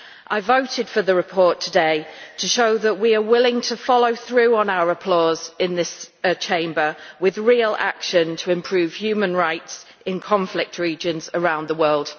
I voted for the report today to show that we are willing to follow through on our applause in this Chamber with real action to improve human rights in conflict regions around the world.